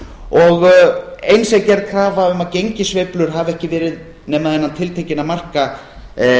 og eins er gerð krafa um að gengissveiflur hafi ekki verið nema innan tiltekinna marka